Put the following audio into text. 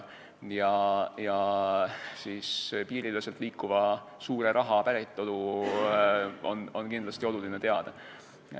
Piiriüleselt liikuva suure raha päritolu on kindlasti oluline teada.